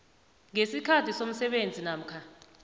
ngesikhathi somsebenzi namkha